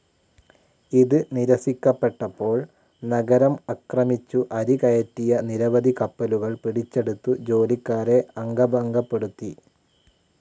ഇത് നിരസിക്കപ്പെട്ടപ്പോൾ നഗരം ആക്രമിച്ചു അരി കയറ്റിയ നിരവധി കപ്പലുകൾ പിടിച്ചെടുത്തു ജോലിക്കാരെ അംഗഭംഗപ്പെടുത്തി